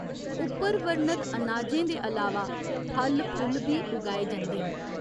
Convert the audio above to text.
उप्पर वर्णत अनाजें दे अलावा फल, फुल्ल बी उगाए जंदे न।